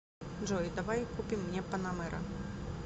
джой давай купим мне панамера